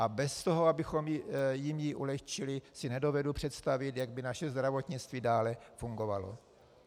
A bez toho, abychom jim ji ulehčili, si nedovedu představit, jak by naše zdravotnictví dále fungovalo.